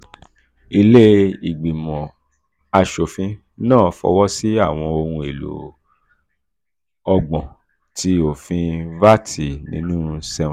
ilé ìgbìmọ̀ aṣòfin náà fọwọ́sí awọn ohun elo ọgbọ̀n ti ofin vat ninu seven.